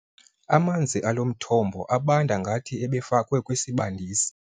Amanzi alo mthombo abanda ngathi ebefakwe kwisibandisi.